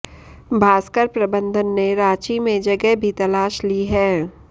भास्कर प्रबंधन ने रांची में जगह भी तलाश ली है